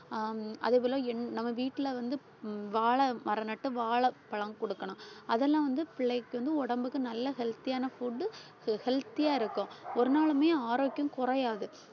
ஹம் அதேபோல என் நம்ம வீட்டுல வந்து வாழை மரம் நட்டு வாழை பழம் குடுக்கணும் அதெல்லாம் வந்து பிள்ளைக்கு வந்து உடம்புக்கு நல்ல healthy யான food healthy யா இருக்கும். ஒரு நாளுமே ஆரோக்கியம் குறையாது.